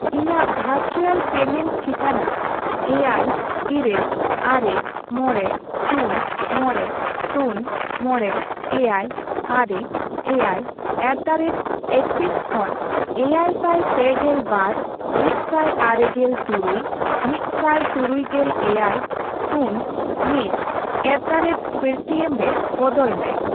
ᱤᱧᱟᱜ virtual payment ᱴᱷᱤᱠᱟᱹᱱᱟ ᱮᱭᱟᱭ, ᱤᱨᱟᱹᱞ, ᱟᱨᱮ, ᱢᱚᱲᱮ, ᱥᱩᱱ, ᱢᱚᱲᱮ, ᱥᱩᱱ, ᱢᱚᱲᱮ, ᱮᱭᱟᱭ, ᱟᱨᱮ, ᱮᱭᱟᱭ ᱮᱴᱫᱟᱨᱮᱴ ᱮᱠᱥᱤᱥ ᱠᱷᱚᱱ ᱮᱭᱟᱭᱥᱟᱭ ᱯᱮᱜᱮᱞ ᱵᱟᱨ, ᱢᱤᱫᱥᱟᱭ ᱟᱨᱮᱜᱮᱞ ᱛᱩᱨᱩᱭ, ᱢᱤᱫᱥᱟᱭ ᱛᱩᱨᱩᱭᱜᱮᱞ ᱮᱭᱟᱭ, ᱥᱩᱱ, ᱢᱤᱫ ᱮᱴᱫᱟᱨᱮᱴ ᱯᱮᱴᱤᱮᱢ ᱨᱮ ᱵᱚᱫᱚᱞ ᱢᱮ ᱾